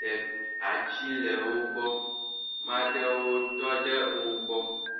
de atsi le wo gbɔ, maɖewo tɔ ɖe o gbɔ.